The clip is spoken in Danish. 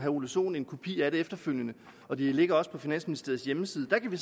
ole sohn en kopi af det efterfølgende og de ligger også på finansministeriets hjemmeside kan vi